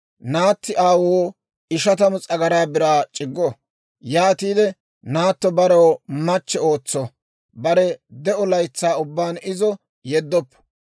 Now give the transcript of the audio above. naatti aawoo ishatamu s'agaraa biraa c'iggo. Yaatiide naatto barew machche ootso. Bare de'o laytsaa ubbaan izo yeddoppo.